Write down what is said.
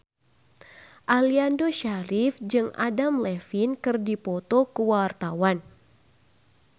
Aliando Syarif jeung Adam Levine keur dipoto ku wartawan